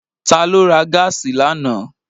Ta ló ra gáàsì lánàá?